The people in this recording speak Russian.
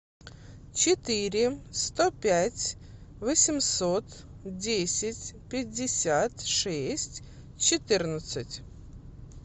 четыре сто пять восемьсот десять пятьдесят шесть четырнадцать